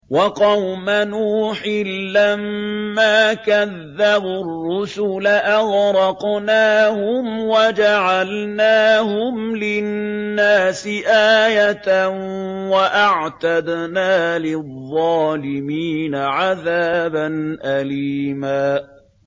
وَقَوْمَ نُوحٍ لَّمَّا كَذَّبُوا الرُّسُلَ أَغْرَقْنَاهُمْ وَجَعَلْنَاهُمْ لِلنَّاسِ آيَةً ۖ وَأَعْتَدْنَا لِلظَّالِمِينَ عَذَابًا أَلِيمًا